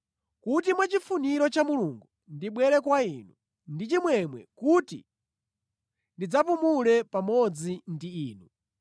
Kuti mwachifuniro cha Mulungu ndibwere kwa inu ndi chimwemwe kuti ndidzapumule pamodzi ndi inu.